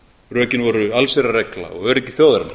rökin voru allsherjarregla og öryggi þjóðarinnar